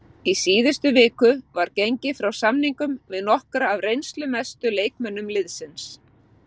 Í síðustu viku var gengið frá samningum við nokkra af reynslumestu leikmönnum liðsins.